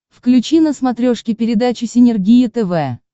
включи на смотрешке передачу синергия тв